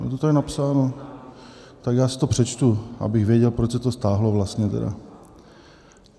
Je to tady napsáno, tak já si to přečtu, abych věděl, proč se to stáhlo vlastně tedy...